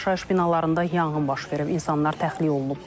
Yaşayış binalarında yanğın baş verib, insanlar təxliyə olunub.